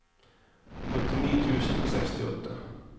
åttini tusen og sekstiåtte